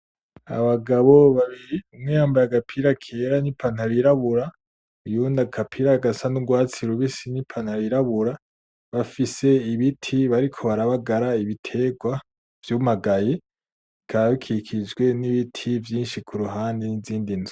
Abagabo babiri, umwe yambaye agapira kera n'ipantaro yirabura, uyundi agapira gasa n'urwatsi rubisi n'ipantaro yirabura, bafise ibiti bariko barabagara ibitegrwa vyumagaye bikaba bikikijwe n'ibiti vyinshi kuruhande n'izindi nzu.